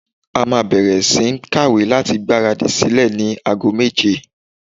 A máa bẹ̀rẹ̀ sí ní ń kàwé láti gbára dì sílẹ̀ ní ago méje.